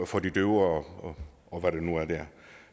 for de døve og og hvad der nu er der